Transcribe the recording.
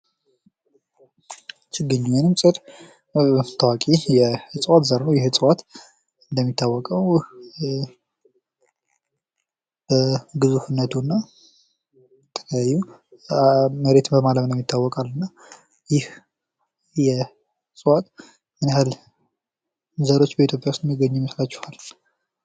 ችግኝ ወይም እጽዋት ታዋቂ የእጽዋት ዘር ነው። ይህ እጽዋት እንደሚታወቀው የ ኧ ግዙፍነቱና መሬት በማለምለም ይታወቃል እና ይህ የእጽዋት ምንያህል ዘሮች በኢትዮጵያ የሚገኙ ይመስሏችኋል?